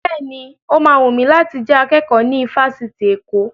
Bẹ́ẹ̀ni, ó ma wùn mi láti jẹ akẹ́kọ̀ọ́ ní ifásitì Èkó